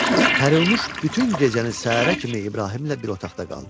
Pərinuş bütün gecəni səhərə kimi İbrahimlə bir otaqda qaldı.